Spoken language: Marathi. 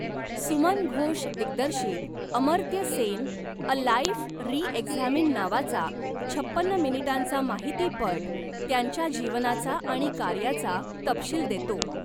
सुमन घोष दिग्दर्शित 'Amartya Sen a life re examined' नावाचा छपन्न मिनिटांचा माहितीपट त्यांच्या जीवनाचा आणि कार्याचा तपशील देतो.